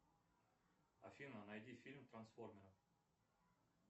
афина найди фильм трансформеры